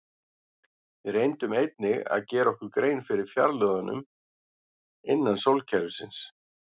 Við reyndum einnig að gera okkur grein fyrir fjarlægðunum innan sólkerfisins.